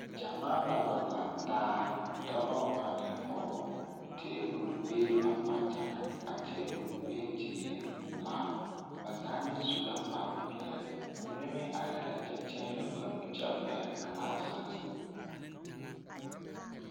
Gyamaa la wa lantaa, dɔbɔ ane pɔgebɔ, teebol bee ba kpakyagaŋ a teebol pentie pelaa, ba zaa meŋ su la kpare peɛle, ba mine meŋ arɛɛ la kyɛ teɛnɛ ba nu kyɛ pɛgele gilaasere.